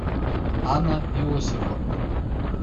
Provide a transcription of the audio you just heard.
анна иосифовна